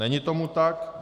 Není tomu tak.